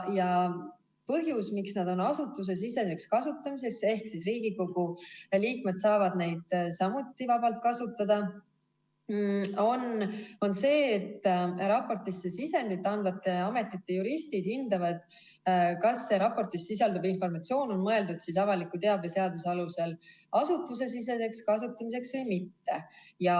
Põhjus, miks nad on asutusesiseseks kasutamiseks – ehk Riigikogu liikmed saavad neid samuti vabalt kasutada –, on see, et raportisse sisendit andvate ametite juristid hindavad, kas raportis sisalduv informatsioon on mõeldud avaliku teabe seaduse alusel asutusesiseseks kasutamiseks või mitte.